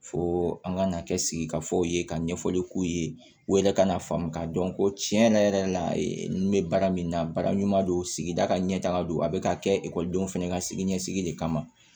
Fo an ka na kɛ sigi ka fɔ ye ka ɲɛfɔli k'u ye u yɛrɛ ka n'a faamu k'a dɔn ko tiɲɛ yɛrɛ yɛrɛ la ninnu bɛ baara min na baara ɲuman don sigida ka ɲɛ taga don a bɛ ka kɛ ekɔlidenw fana ka sini ɲɛsigi de kama